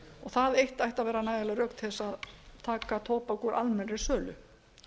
það eitt ætti að vera nægjanleg rök til þess að taka tóbak úr almennri sölu